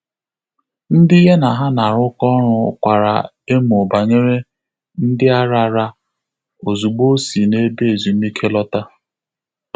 Ndị́ yá nà há nà-árụ́kọ́ ọ́rụ́ kwàrà èmó bànyèrè “ndị́ árárá” ózùgbó ọ́ sì n’ébé ézùmíké lọ́tà.